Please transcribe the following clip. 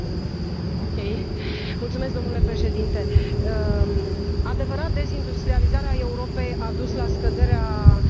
Adevărat, dezindustrializarea Europei a dus la scăderea locurilor de muncă și, sigur, pe toți ne preocupă acest lucru.